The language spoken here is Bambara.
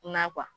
Na